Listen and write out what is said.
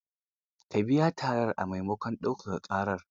Ka biya tarar a maimakon daukaka ƙarar.